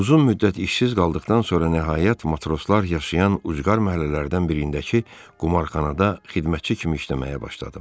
Uzun müddət işsiz qaldıqdan sonra nəhayət matroslar yaşayan ucqar məhəllələrdən birindəki qumarxanada xidmətçi kimi işləməyə başladım.